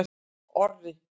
Orri